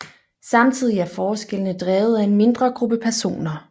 Samtidig er forskellene drevet af en mindre gruppe personer